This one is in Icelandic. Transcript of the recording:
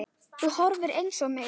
Þú horfir eins á mig.